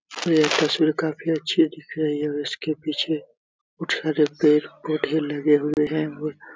यह तस्वीर काफी अच्छी दिख रही है और उसके पीछे कुछ हरे पेड़ -पौधे लगे हुए हैं और --